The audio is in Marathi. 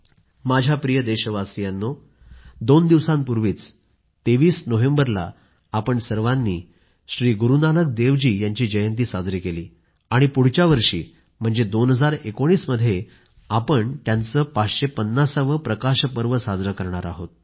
माझ्या प्रिय देशवासियांनो दोन दिवसांपूर्वीच 23 नोव्हेंबरला आपण सर्वांनी श्री गुरूनानक देवजी यांची जयंती साजरी केली आणि पुढच्या वर्षी म्हणजे 2019 मध्ये आपण त्यांचे 550 वे प्रकाश पर्व साजरे करणार आहोत